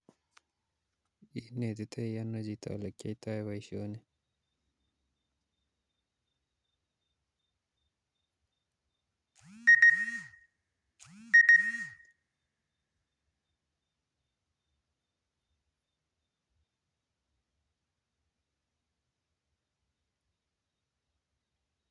Inetitoi ono chito olekiyoito boisioni?